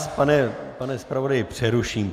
Já vás, pane zpravodaji, přeruším.